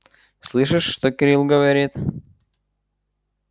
слышишь что кирилл говорит